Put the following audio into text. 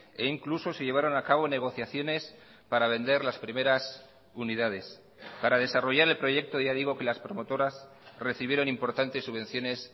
e incluso se llevaron a cabo negociaciones para vender las primeras unidades para desarrollar el proyecto ya digo que las promotoras recibieron importantes subvenciones